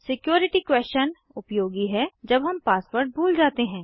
security question उपयोगी है जब हम पासवर्ड भूल जाते हैं